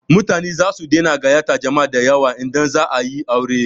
Mutane zasu daina gayyatar jama'a dayawa idan za a yi aure.